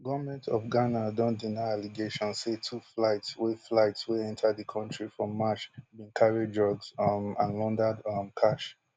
goment of ghana don deny allegation say two flights wey flights wey enta di kontri for march bin carry drugs um and laundered um cash